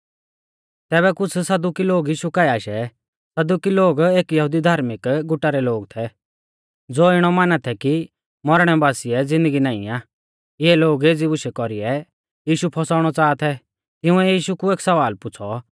तैबै कुछ़ सदुकी लोग यीशु काऐ आशै सदुकी लोग एक यहुदी धार्मिक गुटा रै लोग थै ज़ो इणौ माना थै कि मौरणै बासिऐ ज़िन्दगी नाईं आ इऐ लोग एज़ी बुशै कौरीऐ यीशु फौसाउणौ च़ाहा थै तिंउऐ यीशु कु एक सवाल पुछ़ौ कि